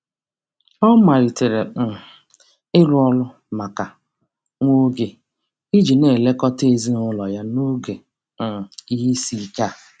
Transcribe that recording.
Ọ malitere um ịrụ ọrụ maka nwa oge iji na-elekọta ezinaụlọ ya n'oge um ihe isiike a.